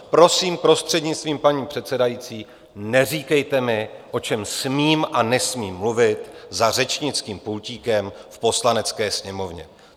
Prosím, prostřednictvím paní předsedající, neříkejte mi, o čem smím a nesmím mluvit za řečnickým pultíkem v Poslanecké sněmovně.